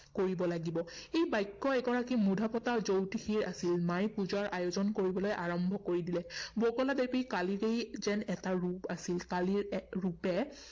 কৰিব লাগিব। এই বাক্য এগৰাকী মূধাফুটা জ্যোতিষীৰ আছিল। মায়ে পূজাৰ আয়োজন কৰিবলৈ আৰম্ভ কৰি দিলে। বগলা দেবী কালীৰেই যেন এটা ৰূপ আছিল। কালীৰ এক ৰূপে